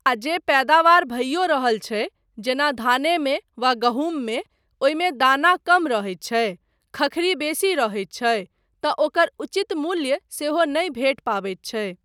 आ जे पैदावार भइयो रहल छै जेना धानेमे वा गहूँममे, ओहिमे दाना कम रहैत छै, खखरी बेसी रहैत छै तँ ओकर उचित मूल्य सेहो नहि भेट पबैत छै।